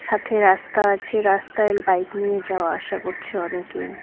সাথে রাস্তা আছে রাস্তায় বাইক নিয়ে যাওয়া আসা করছে অনেকেই।